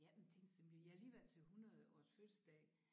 Ja men tænk så jeg har lige været til 100 års fødselsdag